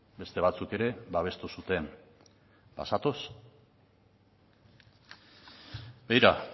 beste batzuk ere babestu zuten bazatoz begira